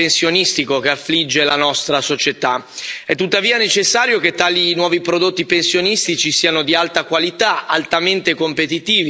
È tuttavia necessario che tali nuovi prodotti pensionistici siano di alta qualità, altamente competitivi e sufficientemente appetibili al pubblico.